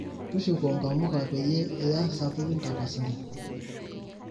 tushuko nkamuka peyie iya sapukin tapasali